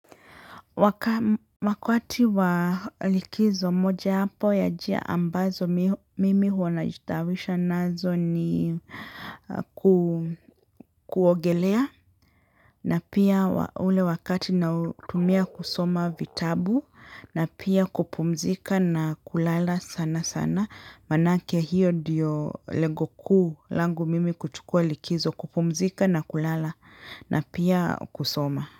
Wakati wa likizo moja wapo ya njia ambazo mimi huwa najitawisha nazo ni kuogelea na pia ule wakati nautumia kusoma vitabu na pia kupumzika na kulala sana sana manake hiyo ndiyo lengo kuu langu mimi kuchukua likizo kupumzika na kulala na pia kusoma.